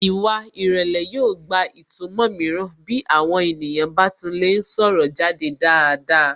Ìwà ìrẹlẹ̀ yóò gba ìtumọ̀ mìíràn bí àwọn ènìyàn bá ti ń lè sọ̀rọ̀ jáde dáadáa